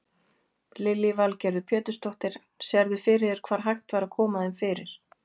Lillý Valgerður Pétursdóttir: Sérðu fyrir þér hvar hægt væri að koma þeim fyrir?